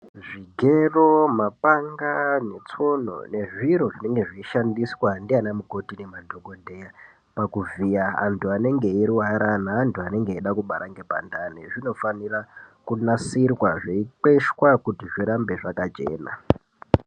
Zvigero, mapanga netsono nezviro zvinenge zveishandiswa ndiana mukoti nemadhokodheya pakuvhiya antu anenge eirwara neantu anenge eida kubara ngepandani zvinofanira kunasirwa zveikweshwa kuti zvirambe zvakachena.